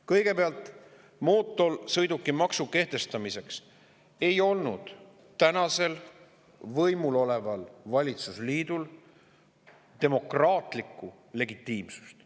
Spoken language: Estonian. Kõigepealt, mootorsõidukimaksu kehtestamiseks ei olnud võimul oleval valitsusliidul demokraatlikku legitiimsust.